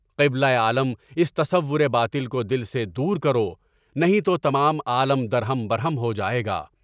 قبلہ عالم اس تصور باطل کو دل سے دور کرو، نہیں تو تمام عالم درہم برہم ہو جائے گا۔